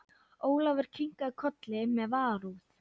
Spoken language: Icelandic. Ólafur kinkaði kolli með varúð.